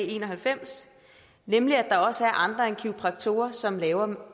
en og halvfems nemlig at der også er andre end kiropraktorer som laver